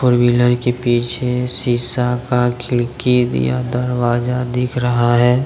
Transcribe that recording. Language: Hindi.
फोर व्हीलर के पीछे शीशा का खिड़की भी या दरवाजा दिख रहा है।